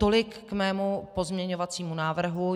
Tolik k mému pozměňovacímu návrhu.